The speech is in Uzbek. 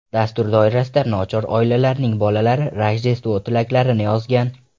Dastur doirasida nochor oilalarning bolalari Rojdestvo tilaklarini yozgan.